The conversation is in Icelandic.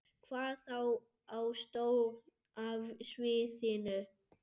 Hvað þá á stóra sviðinu?